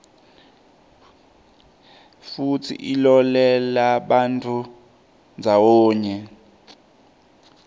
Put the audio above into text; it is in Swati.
futsi ilolelabantfu ndzawonye